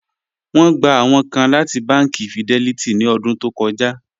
Wọn gbà awọn kàn láti bánkì Fidelity ní ọ̀dún tó kọ́já